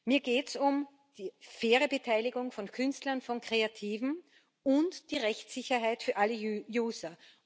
Mir geht es um die faire Beteiligung von Künstlern, von Kreativen und die Rechtssicherheit für alle User.